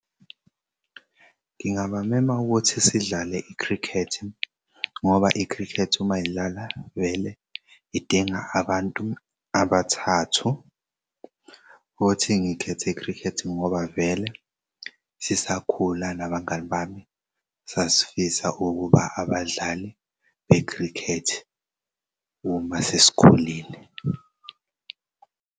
Ngingabamema ukuthi sidlale i-cricket ngoba i-cricket uma idlala vele idinga abantu abathathu futhi ngikhethi cricket ngoba vele sisakhula nabangani bami sasifisa ukuba abadlali be-cricket uma sesikoleni.